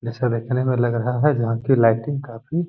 जैसा देखने में लग रहा है जहाँ कि लाइटिंग काफ़ी --